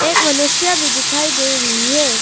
एक मनुष्य भी दिखाई दे रही है।